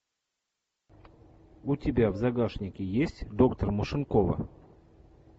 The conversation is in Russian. у тебя в загашнике есть доктор машинкова